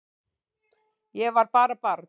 Ég var bara barn